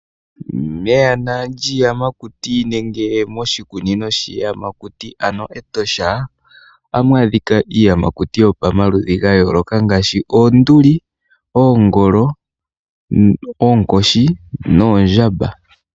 Meyana lyiiyamakuti nenge moshikunino shiiyamakuti ano Etosha ohamu adhika iiyamakuti yomaludhi ga yooloka ngaashi oonduli, oongolo, oonkoshi noondjamba.